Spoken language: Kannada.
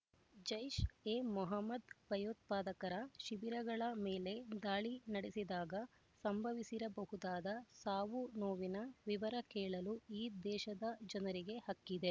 ಜೈಷ್ಎಮೊಹಮ್ಮದ್ ಭಯೋತ್ಪಾದಕರ ಶಿಬಿರಗಳ ಮೇಲೆ ದಾಳಿ ನಡೆಸಿದಾಗ ಸಂಭವಿಸಿರಬಹುದಾದ ಸಾವುನೋವಿನ ವಿವರ ಕೇಳಲು ಈ ದೇಶದ ಜನರಿಗೆ ಹಕ್ಕಿದೆ